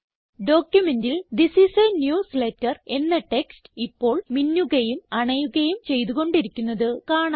ഡോക്യുമെന്റിൽ this is a newsletter എന്ന text ഇപ്പോൾ മിന്നുകയും അണയുകയും ചെയ്തു കൊണ്ടിരിക്കുന്നത് കാണാം